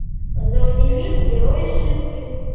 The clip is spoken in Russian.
заводи фильм герои шипки